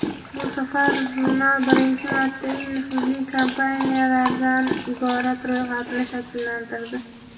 Bu safar jurnal birinchi marta eng nufuzli kompaniyalardan iborat ro‘yxatni shakllantirdi.